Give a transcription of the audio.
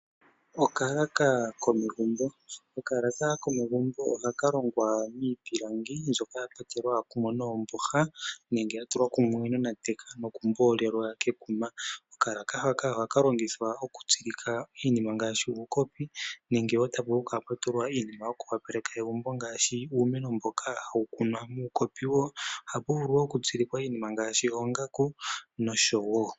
Okalaka komegumbo, okalaka komegumbo ohakalongwa miipilangi mbyoka yatulwa kumwe noomboha nenge yatulwa kumwe nonateka nokumboolelwa kekuma, okalaka haka ohaka longithwa okutsilikwa iinima ngaashi uukopi nenge wo tavulu okutulwa iinima yoku opaleka egumbo ngaashi uumeno mboka hawu kunwa muukopi wo, ohapuvulu iinima ngaashi oongaku nosho wo.